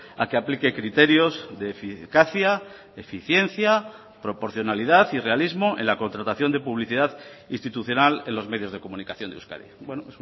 a que aplique criterios de eficacia eficiencia proporcionalidad y realismo en la contratación de publicidad institucional en los medios de comunicación de euskadi bueno